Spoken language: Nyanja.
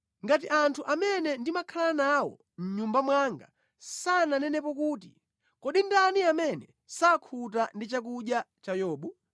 ngati anthu amene ndimakhala nawo mʼnyumba mwanga sananenepo kuti, ‘Kodi ndani amene sakhuta ndi chakudya cha Yobu?’